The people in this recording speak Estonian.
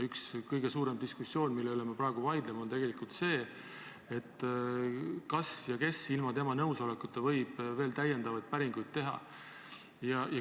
Üks kõige suurem diskussiooniteema, mille üle me praegu vaidleme, on tegelikult see, kas keegi võiks ilma puudutatud isiku nõusolekuta veel päringuid teha ja kui jah, siis kes.